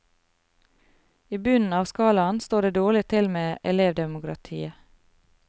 I bunnen av skalaen står det dårlig til med elevdemokratiet.